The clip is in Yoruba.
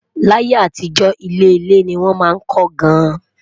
là yé àtijó, ilé ilé ní wón má kò gaan